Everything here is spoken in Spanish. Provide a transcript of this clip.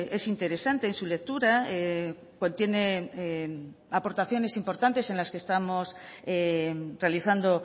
es interesante en su lectura contiene aportaciones importantes en las que estamos realizando